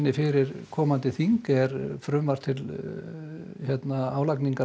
fyrir komandi þing er frumvarp til álagningar